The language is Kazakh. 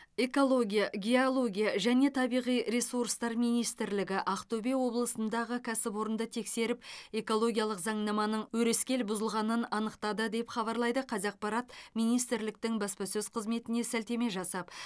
экология геология және табиғи ресурстар министрлігі ақтөбе облысындағы кәсіпорынды тексеріп экологиялық заңнаманың өрескел бұзылғанын анықтады деп хабарлайды қазақпарат министрліктің баспасөз қызметіне сілтеме жасап